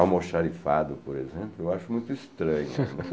Almoxarifado, por exemplo, eu acho muito estranho.